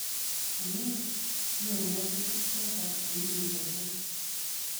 Anii? nyoru ngatutik choton uinwek achon?